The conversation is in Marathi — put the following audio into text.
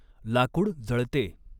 लाकूड जळते.